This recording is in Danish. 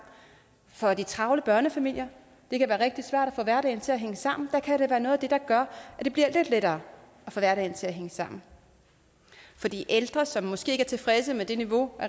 for de travle børnefamilier det kan være rigtig svært at få hverdagen til at hænge sammen og der kan det være noget af det der gør at det bliver lidt lettere at få hverdagen til at hænge sammen de ældre som måske ikke er tilfredse med det niveau